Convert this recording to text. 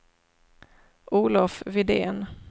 Olof Widén